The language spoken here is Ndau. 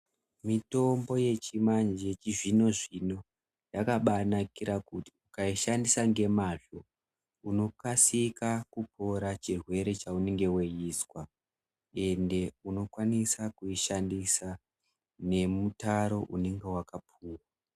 Mitombo yechizvino-zvino yakabanakira kuti ukaishandisa nemazvo unokasika kupora chirwere chaunenge veizwa. Ende unokwanisa kuishandisa nemutaro unonga vakapuva.